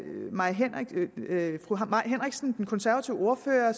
mai henriksen den konservative ordfører